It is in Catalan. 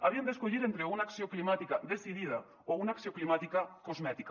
havien d’escollir entre una acció climàtica decidida o una acció climàtica cosmètica